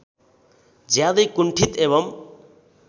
ज्यादै कुण्ठित एवम्